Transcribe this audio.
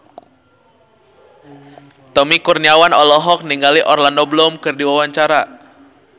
Tommy Kurniawan olohok ningali Orlando Bloom keur diwawancara